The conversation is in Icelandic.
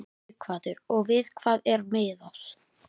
Sighvatur: Og við hvað er miðað?